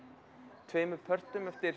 tveimur pörtum eftir